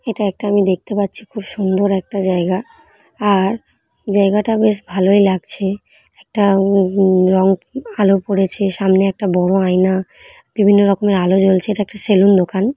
এটা একটা আমি দেখতে পাচ্ছি খুব সুন্দর একটা জায়গা আর জায়গাটা বেশ ভালই লাগছে একটা উম উম রং আলো পড়েছে সামনে একটা বড়ো আয়না বিভিন্ন রকমের আলো জ্বলছে এটা একটা সেলুন দোকান।